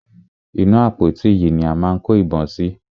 Inú àpótí yìí ni a máa kó ìbọn sí.